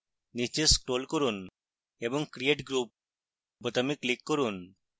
নীচে scroll করুন এবং create group বোতামে click করুন